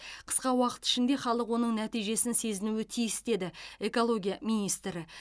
қысқа уақыт ішінде халық оның нәтижесін сезінуі тиіс деді экология министрі